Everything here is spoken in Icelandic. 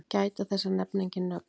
Gæta þess að nefna engin nöfn.